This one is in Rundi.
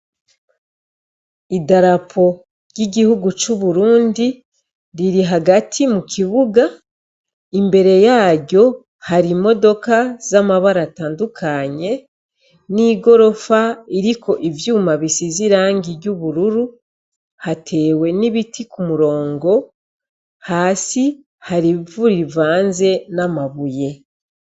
Idarapo ry'igihugu c'Uburundi, riri hagati mukibuga, imbere yaryo hari imodoka z'amabara atandukanye, n'igorofa iriko inyuma bisize irangi ry'ubururu, hatewe n'ibiti kumurongo , hasi hari ivu rivanzwe n'amabuye.